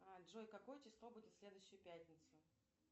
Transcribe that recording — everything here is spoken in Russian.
джой какое число будет в следующую пятницу